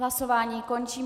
Hlasování končím.